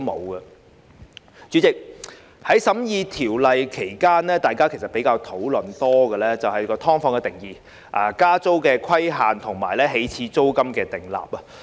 代理主席，在審議《條例草案》期間，委員比較多討論"劏房"的定義、加租規限及起始租金的問題。